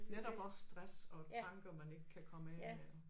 Netop også stress og tanker man ikke kan komme af med og